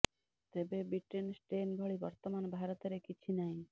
ତେବେ Britain strain ଭଳି ବର୍ତ୍ତମାନ ଭାରତରେ କିଛି ନାହିଁ